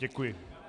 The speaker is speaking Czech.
Děkuji.